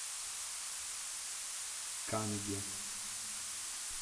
канге